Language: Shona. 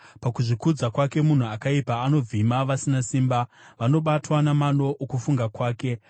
Pakuzvikudza kwake munhu akaipa anovhima vasina simba, vanobatwa namano okufunga kwake.